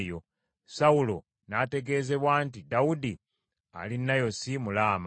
Sawulo n’ategeezebwa nti, “Dawudi ali Nayosi mu Laama;”